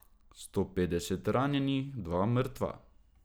Sto petdeset ranjenih, dva mrtva.